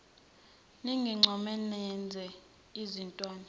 ningincome nenze izintwana